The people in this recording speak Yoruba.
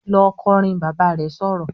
"Lọ kọrin!", Bàbá rẹ̀ sọ̀rọ̀